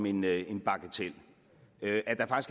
en ny regering ting